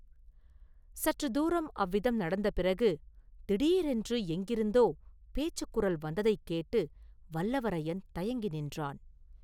சற்று தூரம் அவ்விதம் நடந்த பிறகு, திடீரென்று எங்கிருந்தோ பேச்சுக் குரல் வந்ததைக் கேட்டு, வல்லவரையன் தயங்கி நின்றான்.